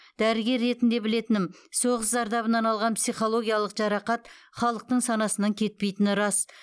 дәрігер ретінде білетінім соғыс зардабынан алған психологиялық жарақат халықтың санасынан кетпейтіні рас